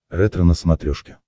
ретро на смотрешке